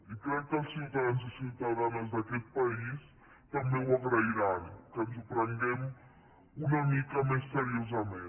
i crec que els ciutadans i ciutadanes d’aquest país també ho agrairan que ens ho prenguem una mica més seriosament